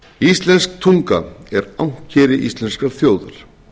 íslensk tunga er ankeri íslenskrar þjóðar